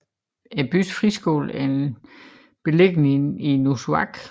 Byens friskole er beliggende i Nuussuaq